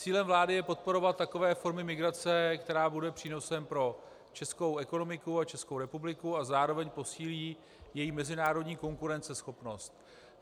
Cílem vlády je podporovat takové formy migrace, která bude přínosem pro českou ekonomiku a Českou republiku a zároveň posílí její mezinárodní konkurenceschopnost.